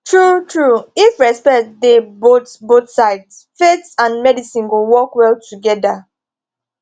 truetrue if respect dey both both sides faith and medicine go work well together